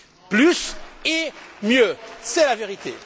Plus et mieux, c'est la vérité.